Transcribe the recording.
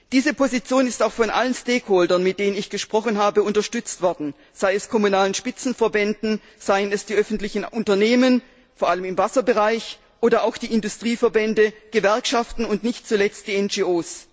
Diese Position ist auch von allen Stakeholdern mit denen ich gesprochen habe, unterstützt worden, seien es kommunale Spitzenverbände, seien es die öffentlichen Unternehmen vor allem im Wasserbereich oder auch die Industrieverbände, Gewerkschaften und nicht zuletzt die NGO.